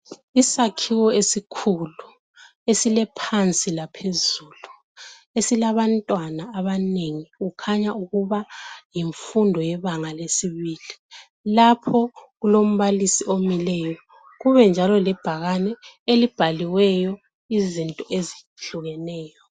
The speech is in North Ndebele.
Isakhiwo esikhulu esilephansi laphezulu esilabantwana abanengi kukhanya ukuba yimfundo yebanga lesibili lapho kulombalisi omileyo kubenjalo lebhakane elibhaliweyo izinto ezihlukeneyo.